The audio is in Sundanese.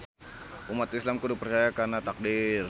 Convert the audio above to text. Umat Islam kudu percaya kana taqdir